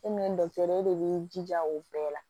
E min ye e de b'i jija o bɛɛ la